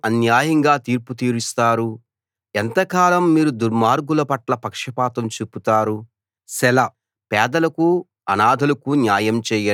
ఎంతకాలం మీరు అన్యాయంగా తీర్పు తీరుస్తారు ఎంతకాలం మీరు దుర్మార్గుల పట్ల పక్షపాతం చూపుతారు సెలా